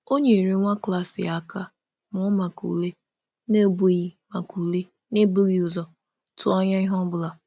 Ọ nyere nwa klas ya aka mụọ maka ule n’ebughị maka ule n’ebughị ụzọ tụọ anya ihe ọ bụla.